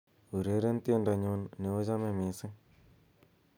ureren teindonyun neochome missing